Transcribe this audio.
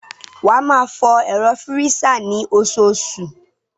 Wá máa fọ ẹ̀rọ fírísà ni osoosù